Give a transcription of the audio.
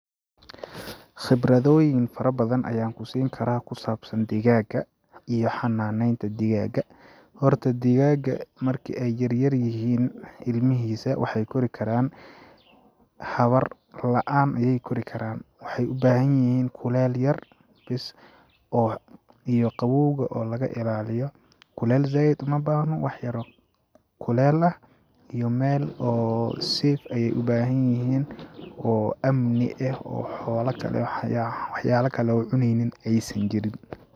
Khibradooyin fara badan ayaan ku siin karaa ku saabsan digaaga iyo xanaaneynta digaaga ,horta digaaga marki ay yar yar yihiin ilmihiisa waxeey kori karaan hawar la'an ayeey koori karaan ,waxeey u baaahan yihiin kuleel yar bes oo iyo qawoowga oo laga ilaaliyo, kuleel zaaid uma baahno ,waxyar oo kuleel ah iyo meel oo safe ayeey u baahan yihiin oo amni eh oo xoola kale ,wax yaala kale oo cuneynin ay san jirin .